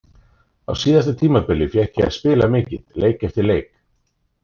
Á síðasta tímabili fékk ég að spila mikið, leik eftir leik.